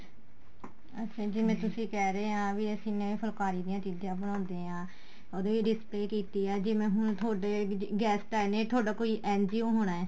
ਅੱਛਾ ਜਿਵੇਂ ਤੁਸੀਂ ਕਹਿ ਰਹੇ ਹਾਂ ਵੀ ਅਸੀਂ ਨੇ ਫੁਲਕਾਰੀ ਦੀਆ ਚੀਜ਼ਾਂ ਬਣਾਉਦੇ ਹਾਂ ਉਹਦੇ display ਕੀਤੀ ਏ ਜਿਵੇਂ ਹੁਣ ਤੁਹਾਡੇ guest ਆਏ ਨੇ ਤੁਹਾਡਾ ਕੋਈ NGO ਹੋਣਾ